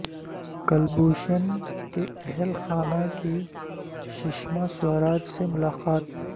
کلبھوشن کے اہل خانہ کی سشما سوراج سے ملاقات